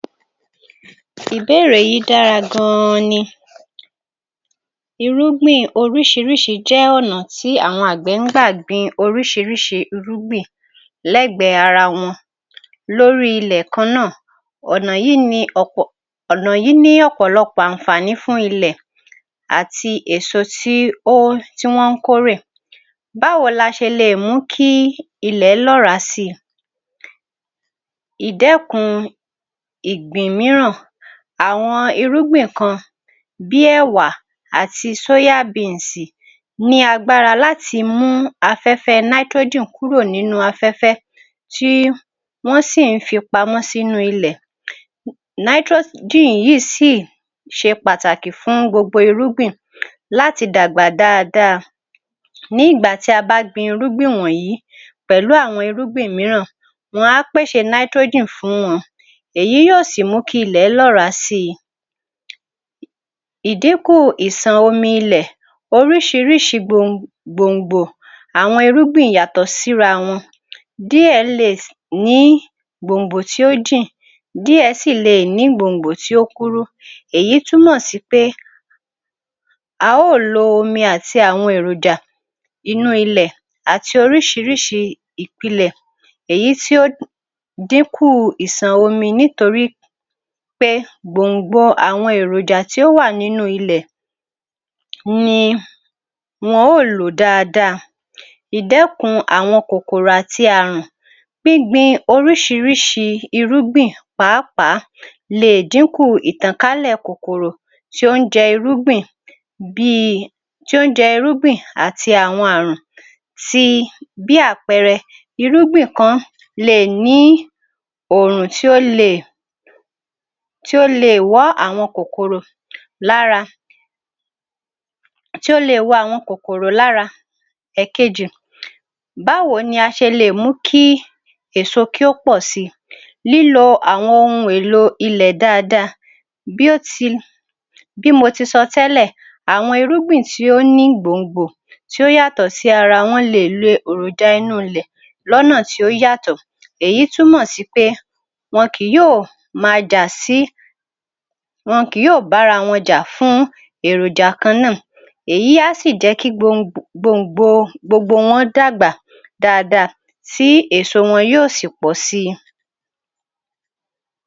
Ìbéèrè yìí dára gan-an ni, irúgbìn oríṣiríṣi jẹ́ ọ̀nà tí àwọn àgbẹ̀ ń gbà gbin oríṣiríṣi irúgbìn l'ẹ́gbẹ̀ ara wọn lórí ilẹ̀ kanáà. Ọ̀nà yìí ní ọ̀pọ̀, ọ̀nà yìí ní ọ̀pọ̀lọpọ̀ ànfààní fún ilẹ̀ àti èso tí ó ń, tí wọ́n ń kórè. Báwo la ṣe lè mú kí ilẹ̀ lọ́ràá síi. ìdékun ìgbín mìíràn, àwọn irúgbìn kan bí ẹ̀wà ati ní agbára láti mú afẹ́fẹ́ kúrò nínú afẹ́fẹ́. Tí wọ́n sì ń fí pamó sínú ilẹ̀, yìí síì ṣe pàtàkì fún gbogbo irúgbìn láti dàgbà dáadáa. Ní ìgbà tí a bá gbìn irúgbìn wọ̀nyìí àwọn irúgbìn mìíràn, wọn á pèṣè fún wọn, èyí o sì mú kí ilẹ̀ lọ́ràá síi. Ìdínkù ìsàn omi ilẹ̀, oríṣiríṣi gbòǹ gbòǹgbò, àwọn irúgbìn yàtọ̀ sí irawọn. Díẹ̀ le ní gbòǹgbò tí ó jìn, díẹ̀ sí leè ní gbòǹgbò tí ó kúrú, èyí túmọ̀sípé a ó ò lo omi àti àwọn èròjà inú ilè àti orísirísi ìpilẹ̀, èyí tí ó dínkù ìsàn omi nítorípé gbòǹgbò àwọn èròjà tí ó wà nínú ilè ni wọn ó lò dáadáa. Ìdẹkùn àwọn kòkòrò àti ààrùn, gbíngbin oríṣiríṣi irúgbìn pàápàá le è dínkù ìtànkálẹ̀ kòkòrò tó ń jẹ irúgbìn bíi tó ń jẹ irúgbìn àti ààrùn sii bí àpẹẹrẹ, irúgbìn kan le è ní òrùn tí ó le è wọ́ àwọn kòkòrò lára, tí ó le wọ àwọn kòkòrò lára. Ẹ̀kejì, báwo ni a ṣe le è mú kí èso kí ó pọ̀ síi, lílo àwọn ohun èlò ilè dáadáa. Bí ó ti, bí mo ti sọ tẹ́lẹ̀, àwọn irúgbìn tí ó ní gbòǹgbò tí ó yàtọ̀ sí ara wọn le è lo èròjà inú ilè lọnà tí ó yàtọ̀. Èyí túmọ̀sípé wọn kì yóò máa jà sí, wọn kì yóò bára wọn jà fún èròjà kan náà. Èyí á sì jẹ́ kí gbongbò, gbòǹgbò, gbogbo wọn dàgbà dáadáa tí èso wọn yóò sì pọ̀ síi.